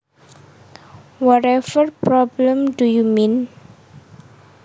Whatever problem do you mean